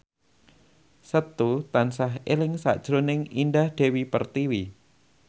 Setu tansah eling sakjroning Indah Dewi Pertiwi